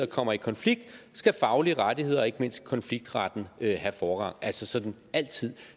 kommer i konflikt skal faglige rettigheder og ikke mindst konfliktretten have forrang altså altid